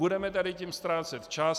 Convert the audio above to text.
Budeme tady tím ztrácet čas.